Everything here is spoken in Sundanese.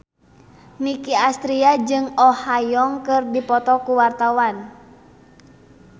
Nicky Astria jeung Oh Ha Young keur dipoto ku wartawan